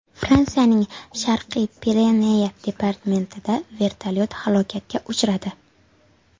Fransiyaning Sharqiy Pireneya departamentida vertolyot halokatga uchradi.